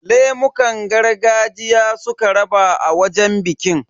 Lemukan gargajiya suka raba a wajen bikin.